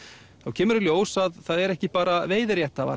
kemur í ljós að það eru ekki bara